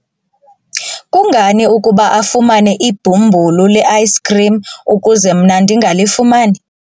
kungani ukuba afumane ibhumbulu le-ayisikhrim ukuze mna ndingalifumani?